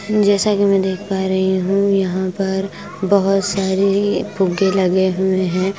जैसा कि मैं देख पा रही हूं यहां पर बहुत सारे ये फुग्गे लगे हुए हैं।